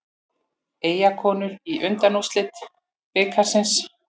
Eyjakonur í undanúrslit bikarsins